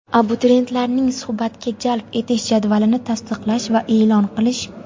abituriyentlarning suhbatga jalb etish jadvalini tasdiqlash va e’lon qilish.